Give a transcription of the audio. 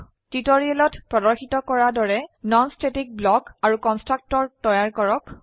টিউটোৰিয়েলত প্ৰদৰ্শিত কৰা দৰে নন স্ট্যাটিক ব্লক আৰু কন্সট্ৰকটৰ তৈয়াৰ কৰক